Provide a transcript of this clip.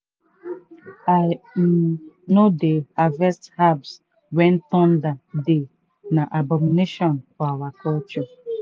i um no dey harvest herbs when thunder dey na abomination for our culture.